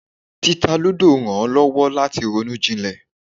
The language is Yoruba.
Títa eré lúdò rán lowo lati ronú jilè.